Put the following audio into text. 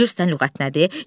Bilirsən lüğət nədir?